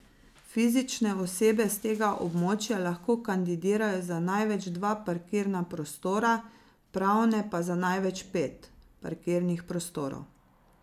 Fizične osebe s tega območja lahko kandidirajo za največ dva parkirna prostora, pravne pa za največ pet parkirnih prostorov.